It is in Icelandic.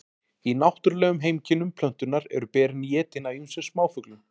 í náttúrulegum heimkynnum plöntunnar eru berin étin af ýmsum smáfuglum